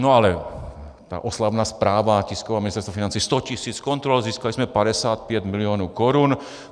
No ale ta oslavná zpráva, tisková, Ministerstva financí: sto tisíc kontrol, získali jsme 55 milionů korun!